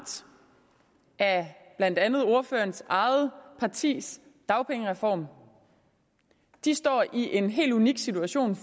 af blandt andet ordførerens eget partis dagpengereform og de står i en helt unik situation